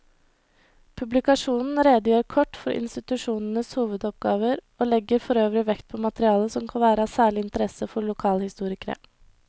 Publikasjonen redegjør kort for institusjonenes hovedoppgaver og legger forøvrig vekt på materiale som kan være av særlig interesse for lokalhistorikere.